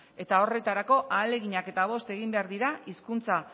eta horretarako ahaleginak eta bost egin behar dira hizkuntza